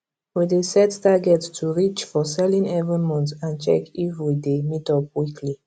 we dey set targets to reach for selling every month and check if we dey meet up weekly